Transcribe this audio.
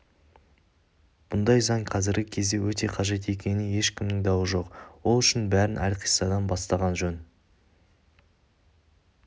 бұндай заң қазіргі кезде өте қажет екеніне ешкімнің дауы жоқ ол үшін бәрін әлқиссадан бастаған жөн